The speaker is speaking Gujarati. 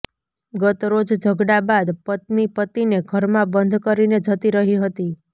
ગતરોજ ઝઘડા બાદ પત્ની પતિને ઘરમાં બંધ કરીને જતી રહી હતી